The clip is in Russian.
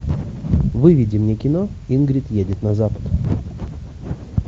выведи мне кино ингрид едет на запад